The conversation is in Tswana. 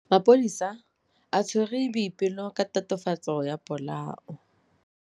Maphodisa a tshwere Boipelo ka tatofatsô ya polaô.